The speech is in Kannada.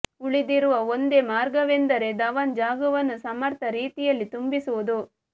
ಉಳಿದಿರುವ ಒಂದೇ ಮಾರ್ಗವೆಂದರೆ ಧವನ್ ಜಾಗವನ್ನು ಸಮರ್ಥ ರೀತಿಯಲ್ಲಿ ತುಂಬಿ ಸುವುದು